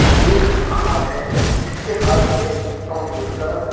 एक हाथ है जिसके हाथ में अमरूद का --